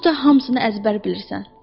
Onsuz da hamısını əzbər bilirsən.